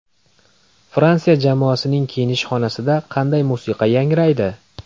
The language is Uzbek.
Fransiya jamoasining kiyinish xonasida qanday musiqa yangraydi?